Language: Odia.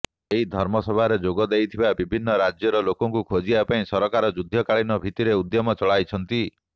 ଏହି ଧର୍ମସଭାରେ ଯୋଗ ଦେଇଥିବା ବିଭିନ୍ନ ରାଜ୍ୟର ଲୋକଙ୍କୁ ଖୋଜିବା ପାଇଁ ସରକାର ଯୁଦ୍ଧକାଳୀନ ଭିତ୍ତିରେ ଉଦ୍ୟମ ଚଳାଇଛନ୍ତି